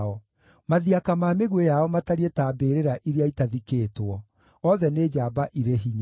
Mathiaka ma mĩguĩ yao matariĩ ta mbĩrĩra iria ĩtathikĩtwo; othe nĩ njamba irĩ hinya.